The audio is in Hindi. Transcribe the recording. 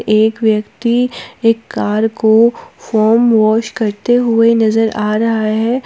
एक व्यक्ति एक कार को फोम वॉश करते हुए नजर आ रहा है।